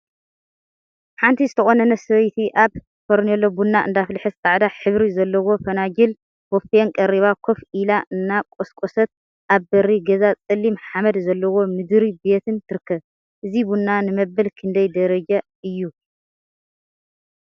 ሓንቲ ዝተቆነነትን ሰበይቲ አብ ፈርኔሎ ቡና እንዳአፍለሐት ፃዕዳ ሕብሪ ዘለዎም ፈናጅልን ቦፌን ቀሪባ ኮፍ ኢላ እናቆስቆሰት አብ በሪ ገዛ ፀሊም ሓመድ ዘለዎ ምድሪ ቤትን ትርከብ፡፡ እዚ ቡና ንመበል ክደይ ደረጃ እዩ ?